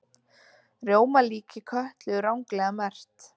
Rjómalíki Kötlu ranglega merkt